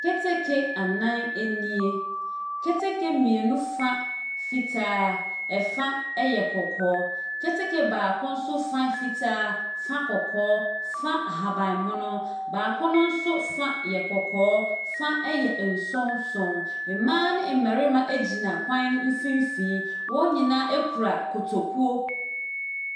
Keteke anan nie. Keteke mmienu fa fitaa, ɛfa yɛ kɔkɔɔ. Keteke baako nso fa yɛ fitaa, fa kɔkɔɔ, fa ahaban mono. Baako no nso fa yɛ kɔkɔɔ, fa yɛ nsonson. Mmaa ne mmarima gyina kwan no mfimfini. Wɔn nyinaa kura kotokuo.